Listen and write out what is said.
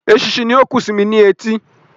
Eṣinṣin ni ó ń kùn sí mí ní etí